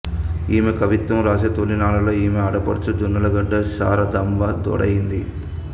ఈమె కవిత్వం వాసే తొలినాళ్లలో ఈమె ఆడపడుచు జొన్నలగడ్డ శారదాంబ తోడయ్యింది